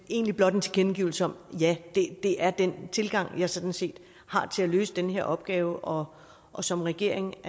egentlig blot en tilkendegivelse om at ja det er den tilgang jeg sådan set har til at løse den her opgave og og som regering